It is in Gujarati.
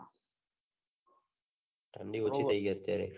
ઠંડી ઓછી થઇ ગઈ અત્યારે